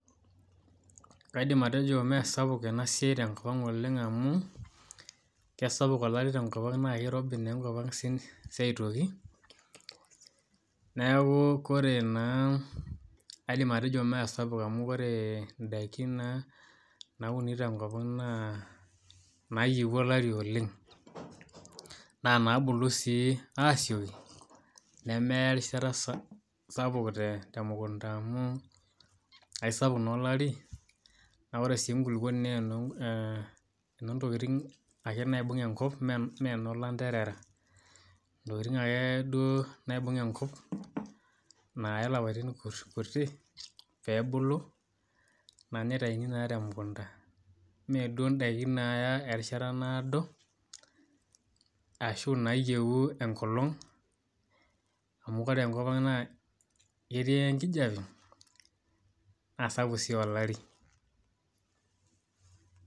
Kaidim atejo mme sapuk ena siai te kop ang oleng amu esapuk enchan tekop ang aitoki neaku ore naa, kaidim atejo mme sapuk amu ore daikin nauni te kop ang naa nayieu oolari ooleng, naa naabulu sii asieki neneya erishata sapuk, te mukunta amu aisapuk naa olari na ore si ekuluponi naa enoo tokitin ake naibung ekop mme noolaterera. Tokitin ake duo naibung enkop naaya lapaitin kuti pee ebulu naa nitaini si te mukunta mme duo daikin naaya erishata naado, ashu naayieu enkolong amu ore ekop ang naa ketii ekijape aa sapuk si olari.